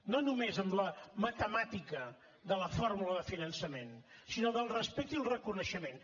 no només amb la matemàtica de la fórmula de finançament sinó del respecte i el reconeixement